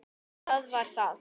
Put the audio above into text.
Það var það.